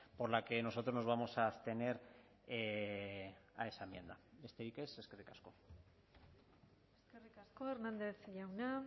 por la que nosotros nos vamos a abstener a esa enmienda besterik ez eskerrik asko eskerrik asko hernández jauna